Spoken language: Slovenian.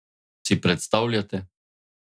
Si predstavljate?